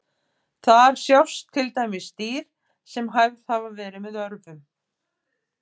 Þar sjást til dæmis dýr sem hæfð hafa verið með örvum.